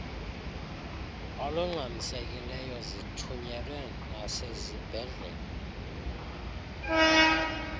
olungxamisekileyo zithunyelwe nasezibhedlele